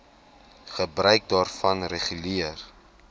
gebruik daarvan reguleer